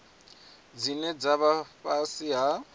dzine dza vha fhasi ha